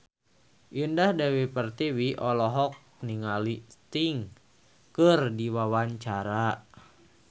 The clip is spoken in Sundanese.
Indah Dewi Pertiwi olohok ningali Sting keur diwawancara